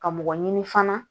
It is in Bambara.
Ka mɔgɔ ɲini fana